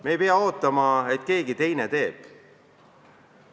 Me ei pea ootama, et keegi teine midagi teeb.